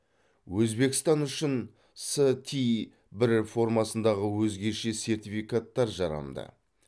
өзбекстан үшін ст бір формасындағы өзгеше сертификаттар жарамды